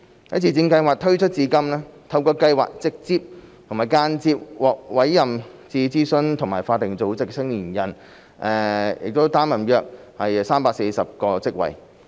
在自薦計劃推出至今，透過計劃直接和間接獲委任至諮詢組織和法定組織的青年人，擔任約340個職位。